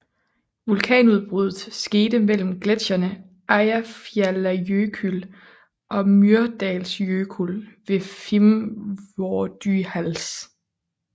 Vulkanudbruddet skete mellem gletsjerne Eyjafjallajökull og Mýrdalsjökull ved Fimmvörðuháls